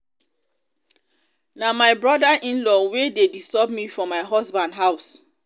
na my brother in-law wey dey disturb me for my husband house